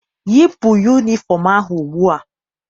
Yipu yunifọm ahụ ugbua!